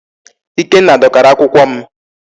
Ikenna dọkara akwụkwọ m.